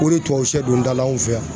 O de ye tubabusɛ don da la an fɛ yan.